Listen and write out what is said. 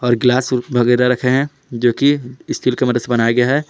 और ग्लास वगैरा रखे हैं जोकि स्टील की मदद से बनाया गया है।